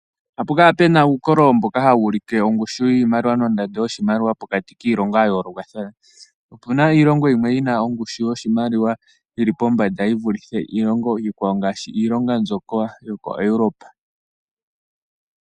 Ohapu kala puna uukololo mboka hawuulike oongushu yiimaliwa nondando yoshimaliwa pokati kiilongo yayoolokathana. Opuna iilongo yimwe mbyoka yina ongushu yoshimaliwa yili pombanda yi vulithe iilongo iikwawo, ngaashi iilongo mbyoka yokoEuropa.